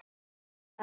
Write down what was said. En hvað?